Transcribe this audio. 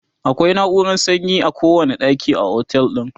akwai nauran sanyi a kowani ɗaki a otel din